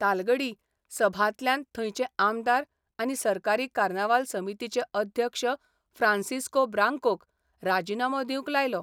तालगडी सभांतल्यान थंयचे आमदार आनी सरकारी कार्नावाल समितीचे अध्यक्ष फ्रांसिस्को ब्रांकोक राजिनामो दिवंक लायलो.